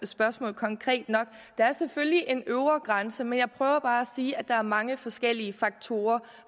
spørgsmål konkret nok der er selvfølgelig en øvre grænse men jeg prøver bare at sige at der er mange forskellige faktorer